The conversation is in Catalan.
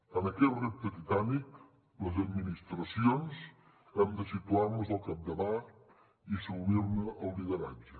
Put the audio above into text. en aquest repte titànic les administracions hem de situar nos al capdavant i assumir ne el lideratge